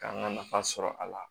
K'an ka nafa sɔrɔ a la